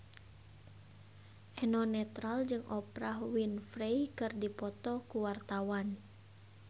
Eno Netral jeung Oprah Winfrey keur dipoto ku wartawan